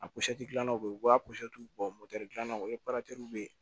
A gilannaw ye u b'a bɔ moto dilanna o ye bɛ yen